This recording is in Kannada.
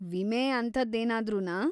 ವಿಮೆ ಅಂಥದ್ದೇನಾದ್ರೂನಾ?